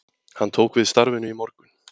Hann tók við starfinu í morgun